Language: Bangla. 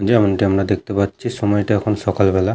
যেমনটি আমরা দেখতে পাচ্ছি সময়টা এখন সকালবেলা।